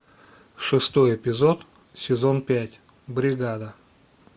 шестой эпизод сезон пять бригада